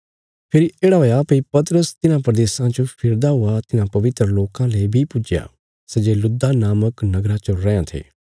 फेरी येढ़ा हुआ भई पतरस तिन्हां प्रदेशां च फिरदा हुआ तिन्हां पवित्र लोकां ले बी पुज्जया सै जे लुद्दा नामक नगरा च रैयां थे